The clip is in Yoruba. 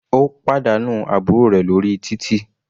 Ó pàdánù àbúrò rẹ̀ lórí títì.